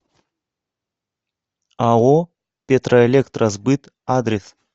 ао петроэлектросбыт адрес